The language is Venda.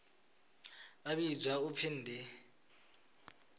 vha vhidzwa u pfi ndi